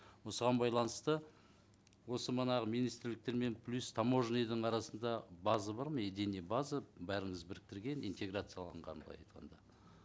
осыған байланысты осы мына министрліктермен плюс таможняның арасында база бар ма единая база бәріміз біріктірген интеграцияланған былай айтқанда